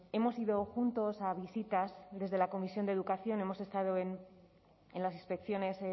hemos ido juntos a visitas desde la comisión de educación hemos estado en las inspecciones